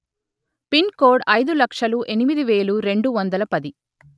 pin code అయిదు లక్షలు ఎనిమిది వేలు రెండు వందల పది